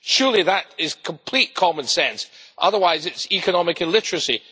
Surely that is complete common sense, otherwise it's economic illiteracy.